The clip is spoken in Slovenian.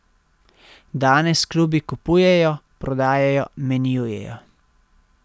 Danes klubi kupujejo, prodajajo, menjujejo ...